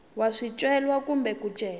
wa swicelwa kumbe ku cela